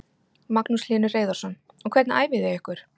Magnús Hlynur Hreiðarsson: Og hvernig æfið þið ykkur?